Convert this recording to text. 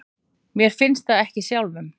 Mér finnst það ekki sjálfum.